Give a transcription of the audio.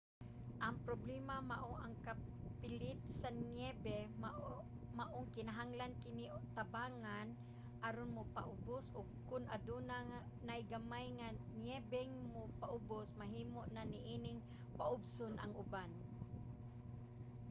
ang problema mao ang kapilit sa niyebe maong kinahanglan kini tabangan aron mopaubos og kon aduna nay gamay nga niyebeng mopaubos mahimo na niining paubson ang uban